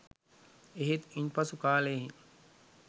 එහෙත් ඉන්පසු කාලයෙහි